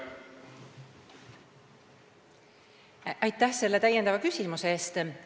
Aitäh selle täiendava küsimuse eest!